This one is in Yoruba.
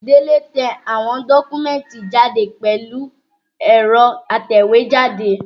Délé tẹ àwọn dọ́kúmẹ̀tì jáde pẹ̀lú ẹ̀rọ atẹ̀wẹ́jáde